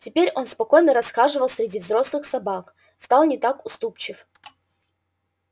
теперь он спокойно расхаживал среди взрослых собак стал не так уступчив